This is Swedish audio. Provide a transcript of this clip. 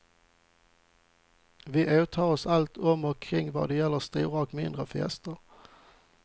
Vi åtar oss allt om och kring vad gäller stora som mindre fester.